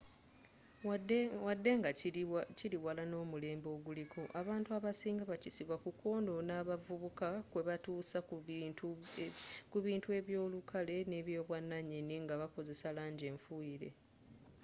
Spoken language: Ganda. wadde nga kili wala n'omulembe oguliko abantu abasinga bakisiba ku kwonona abavubuka kwebatuusa ku bintu eby'olukale n'ebyobwananyini nga bakozesa langi enfuyire